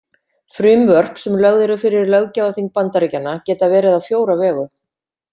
Frumvörp sem lögð eru fyrir löggjafarþing Bandaríkjanna geta verið á fjóra vegu.